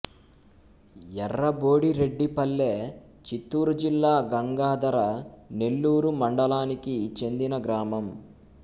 ఎర్రబోడిరెడ్డిపల్లె చిత్తూరు జిల్లా గంగాధర నెల్లూరు మండలానికి చెందిన గ్రామం